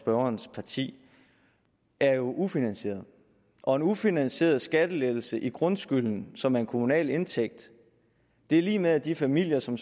og hans parti er jo ufinansieret og en ufinansieret skattelettelse i grundskylden som er en kommunal indtægt er lig med at de familier som